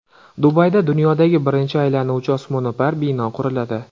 Dubayda dunyodagi birinchi aylanuvchi osmono‘par bino quriladi.